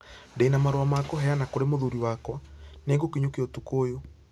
Ndĩ na marũa ma kũheana kũrĩ mũthuri wakwa. Nĩ ngũkinyũkia ũtukũ ũyũ.